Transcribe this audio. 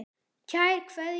Kær Kveðja.